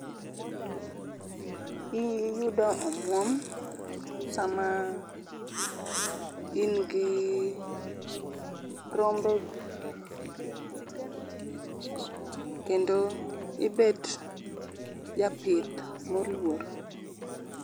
Iyudo omuom sama in gi rombe gi kendo ibet japith moluor